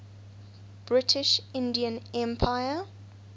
british indian empire